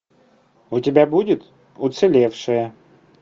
у тебя будет уцелевшая